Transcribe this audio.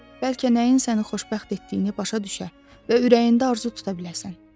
Bəlkə nəyin səni xoşbəxt etdiyini başa düşə və ürəyində arzu tuta biləsən.